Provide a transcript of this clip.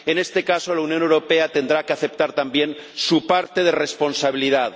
En este caso, la Unión Europea tendrá que aceptar también su parte de responsabilidad.